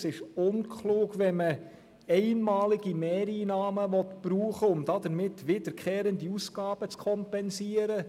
Es ist unklug, wenn man einmalige Mehreinnahmen brauchen will, um damit wiederkehrende Ausgaben zu kompensieren.